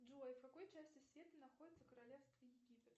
джой в какой части света находится королевство египет